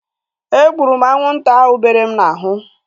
E gburu m anwụnta ahu bere m n'ahụ